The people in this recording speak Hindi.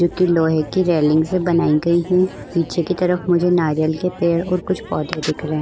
जो कि लोहे की रेलिंग से बनाई गई है पीछे की तरफ मुझे नारियल के पेड़ और कुछ पौधे दिख रहे है।